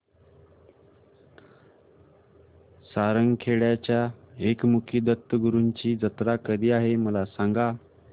सारंगखेड्याच्या एकमुखी दत्तगुरूंची जत्रा कधी आहे मला सांगा